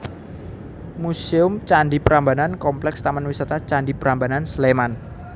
Muséum Candhi Prambanan Kompleks Taman Wisata Candi Prambanan Sleman